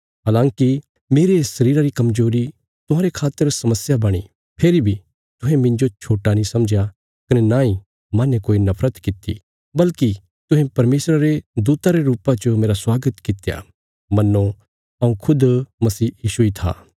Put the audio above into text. हलांकि मेरे शरीरा री कमजोरी तुहांरे खातर समस्या बणी फेरी बी तुहें मिन्जो छोट्टा नीं समझया कने नांई माहने कोई नफरत कित्ती बल्कि तुहें परमेशरा रे दूता रे रुपा च मेरा स्वागत कित्या मन्नो हऊँ खुद मसीह यीशु इ था